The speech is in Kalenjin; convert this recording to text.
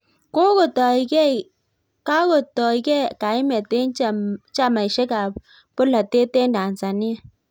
Kakotoei kaimet eng chamaishek ab bolotet eng Tanzania.